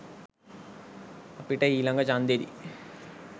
අපිට ඊලඟ චන්දෙදි